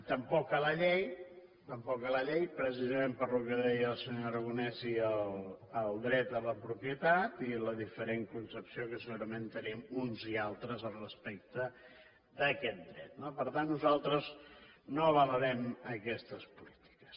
tampoc a la llei tampoc a la llei precisament pel que deia el senyor aragonès i el dret a la propietat i la diferent concepció que segurament tenim uns i altres respecte d’aquest dret no per tant nosaltres no avalarem aquestes polítiques